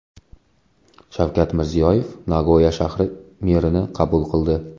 Shavkat Mirziyoyev Nagoya shahri merini qabul qildi.